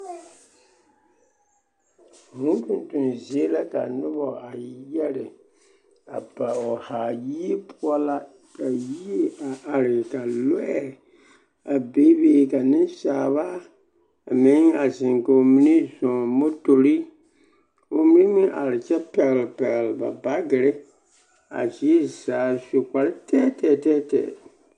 Vūū tontoŋ zie la ka noba a yɛre a pa o haa, yie poɔ ka yie a are ka lɔɛ a bebe ka nensaaba a meŋ a zeŋ k'o mine zɔɔ motori k'o mine meŋ are kyɛ pɛgele pɛgele ba baagiri a zie zaa, a su kpare tɛɛtɛɛ tɛɛtɛɛ.